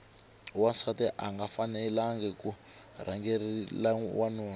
wansati anga fanelangi ku rhangela wanuna